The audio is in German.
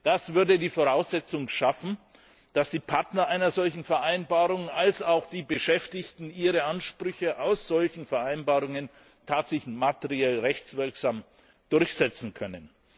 Das würde die Voraussetzung schaffen, dass die Partner einer solchen Vereinbarung, also auch die Beschäftigten, ihre Ansprüche aus solchen Vereinbarungen tatsächlich materiell rechtswirksam durchsetzen können.